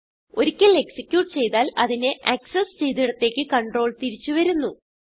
ഒരിക്കൽ എക്സിക്യൂട്ട് ചെയ്താൽ അതിനെ ആക്സസ് ചെയ്തിടത്തേക്ക് കണ്ട്രോൾ തിരിച്ചു വരുന്നു